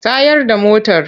Tayar da motar!